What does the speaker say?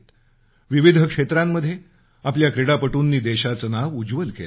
विविध क्षेत्रात आपल्या क्रीडापटूंनी देशाचं नाव उज्वल केलं आहे